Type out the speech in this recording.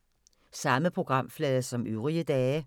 Samme programflade som øvrige dage